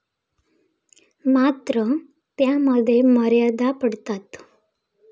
मात्र, त्यामध्ये मर्यादा पडतात.